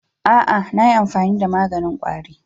A'a, na yi amfani da maganin ƙwari.